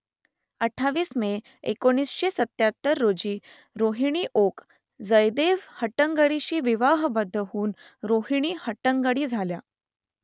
अठ्ठावीस मे एकोणीसशे सत्त्याहत्तर रोजी रोहिणी ओक जयदेव हट्टंगडींशी विवाहबद्ध होऊन रोहिणी हट्टंगडी झाल्या